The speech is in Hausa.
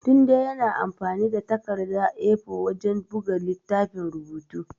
Tunde yana amfani da takardar A4 wajen buga littafin rubutu.